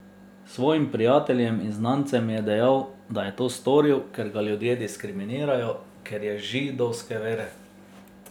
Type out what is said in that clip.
Svojim prijateljem in znancem je dejal, da je to storil, ker ga ljudje diskriminirajo, ker je židovske vere.